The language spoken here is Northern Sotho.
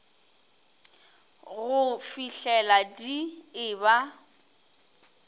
go fihlela di e ba